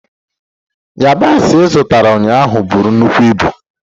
Yabasi ị zụtara ụnyaahụ buru nnukwu ibu.